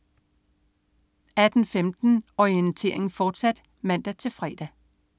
18.15 Orientering, fortsat (man-fre)